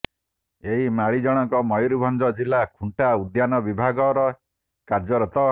ଏହି ମାଳି ଜଣଙ୍କ ମୟୁରଭଞ୍ଜ ଜିଲ୍ଲ ଖୁଣ୍ଟା ଉଦ୍ୟାନ ବିଭାଗରେ କାର୍ଯ୍ୟରତ